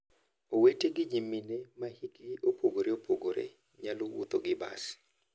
Owete gi nyimine ma hikgi opogore opogore nyalo wuotho gi bas.